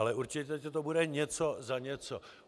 Ale určitě to bude něco za něco.